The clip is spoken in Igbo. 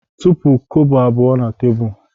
Tụpụ kobo abụọ na tebụl!